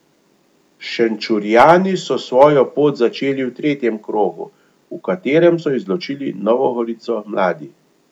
Šenčurjani so svojo pot začeli v tretjem krogu, v katerem so izločili Novo Gorico mladi.